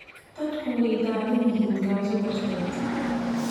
Dadku way daalan yihiin gaajo darteed.